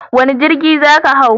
Wane jirgi za ka hau?